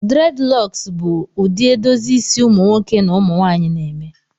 Dreadilocks bụ ụdị edozi isi ụmụ nwoke na ụmụ nwanyị na eme